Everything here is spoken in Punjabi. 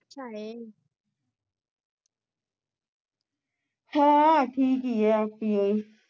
ਹਾਂ ਠੀਕ ਈ ਐ